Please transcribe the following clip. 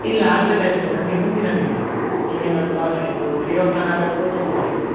ಇಲ್ಲ ಆಗ್ಬೇಕಷ್ಟೆ ನಮ್ಗೆ ಮುಂದಿನ ತಿಂಗಳು. ಇನ್ನೇನು ಕ~ ಇದು reopen ಆಡ್ ಕೂಡ್ಲೇ ಶುರು ಆಗ್ತದೆ.